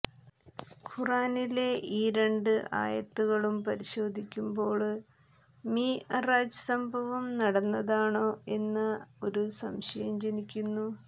ഖുര്ആനിലെ ഈ രണ്ട് ആയത്തുകളും പരിശോധിക്കുമ്പോള് മിഅ്റാജ് സംഭവം നടന്നതാണോ എന്ന ഒരു സംശയം ജനിക്കുന്നു